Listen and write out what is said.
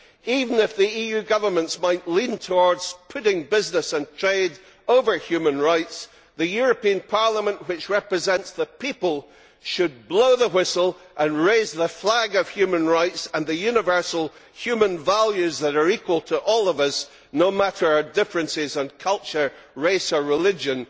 Even if the EU governments might lean towards putting business and trade over human rights, the European Parliament, which represents the people, should blow the whistle and raise the flag of human rights and the universal human values that are equal to all of us, no matter our differences in culture, race or religion.